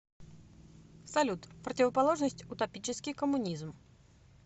салют противоположность утопический коммунизм